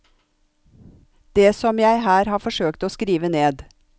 Det som jeg her har forsøkt å skrive ned.